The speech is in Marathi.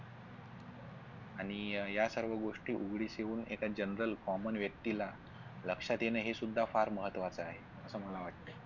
आणि या सर्व गोष्टी उघडीस येऊन एका general common व्यक्तीला लक्षात येण हे सुद्धा फार महत्त्वाचा आहे असं मला वाटतय.